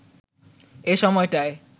এ সময়টায়